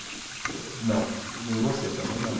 Ele falou, não, e nem você também não.